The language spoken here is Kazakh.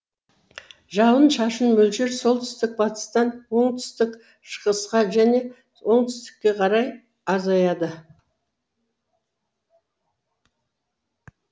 жауын шашын мөлшері солтүстік батыстан оңтүстік шығысқа және оңтүстікке қарай азаяды